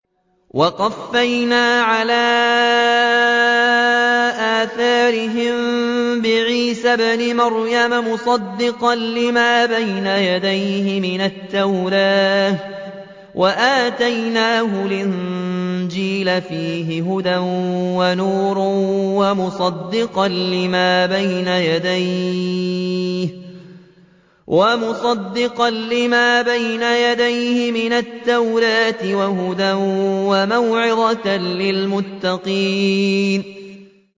وَقَفَّيْنَا عَلَىٰ آثَارِهِم بِعِيسَى ابْنِ مَرْيَمَ مُصَدِّقًا لِّمَا بَيْنَ يَدَيْهِ مِنَ التَّوْرَاةِ ۖ وَآتَيْنَاهُ الْإِنجِيلَ فِيهِ هُدًى وَنُورٌ وَمُصَدِّقًا لِّمَا بَيْنَ يَدَيْهِ مِنَ التَّوْرَاةِ وَهُدًى وَمَوْعِظَةً لِّلْمُتَّقِينَ